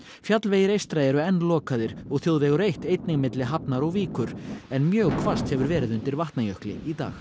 fjallvegir eystra eru enn lokaðir og þjóðvegur eitt einnig milli Hafnar og Víkur en mjög hvasst hefur verið undir Vatnajökli í dag